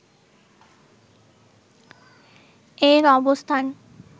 এর অবস্থান